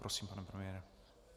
Prosím, pane premiére.